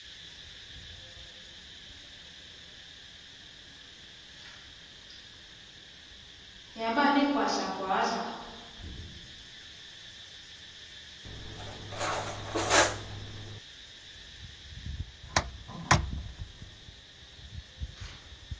yaba ligwadla gwadla